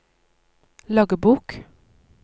loggbok